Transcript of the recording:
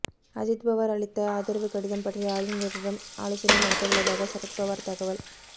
அஜித் பவார் அளித்த ஆதரவு கடிதம் பற்றி ஆளுநரிடம் ஆலோசனை நடத்த உள்ளதாக சரத் பவார் தகவல்